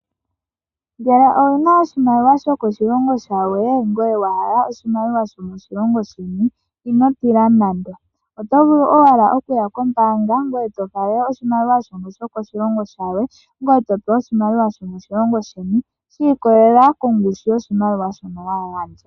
Ngele owu na oshimaliwa sho koshilongo shilwe, ngoye wa hala oshimaliwa sho moshilongo sheni, ino tila nande. Oto vulu owala okuya kombaanga ngoye to falele oshimaliwa sho koshilongo shilwe, ngoye to pewa oshimaliwa sho moshilongo sheni sha ikolelela kongushu yoshimaliwa shono wa gandja.